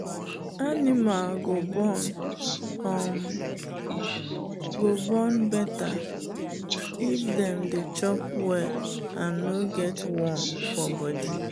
animal go born um better if dem dey chop well and no get worm for body.